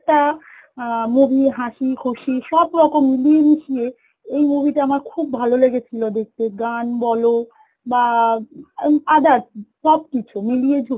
একটা অ্যাঁ movie হাঁসি খুশি সব রকম মিলিয়ে মিশিয়ে এই movie টা আমার খুব ভালো লেগে ছিল দেখতে গান বল বা ওই others সব কিছু মিলিয়ে ঝু~